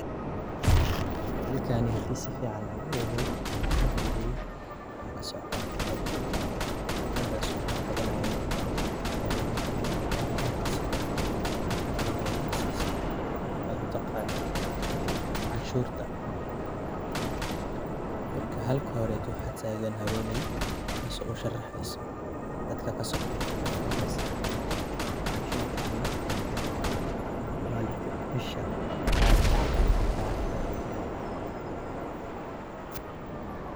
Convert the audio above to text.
Halkani hadii sifican aan uhubiyay ama aan ufiiriyay waxa kasocoto xaflad, xafladasoo lagu qabanayo hab aruurinta ama qaab aruurinta sida loo aruuriyo taxes waxad utaqano canshuurta marka halaka hore waxaa taagan haweney tasoo usharexeso dadka kasoo qeebgalay xafladasi canshuurta iyo maalinka bisha malinka canshuurta laga dabaaldago.